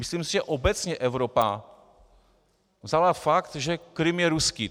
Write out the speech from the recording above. Myslím si, že obecně Evropa vzala fakt, že Krym je ruský.